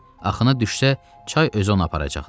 Axına düşsə, çay özü onu aparacaqdı.